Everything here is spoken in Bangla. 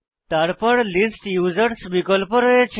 তারপর লিস্ট ইউজার্স বিকল্প রয়েছে